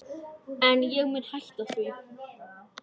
En ég mun hætta því.